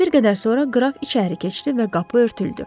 Bir qədər sonra qraf içəri keçdi və qapı örtüldü.